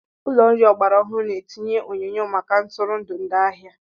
Ụlọ nri ọgbara ọhụrụ na-etinye onyonyo maka ntụrụndụ ndị ahịa.